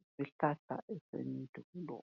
yisihlahla esendulo.